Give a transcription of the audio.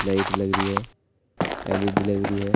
Light लग रही है एल_इ_डी लग रही है।